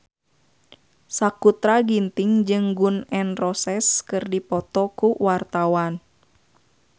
Sakutra Ginting jeung Gun N Roses keur dipoto ku wartawan